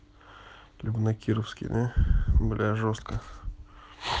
прям на кировский да бля жёстко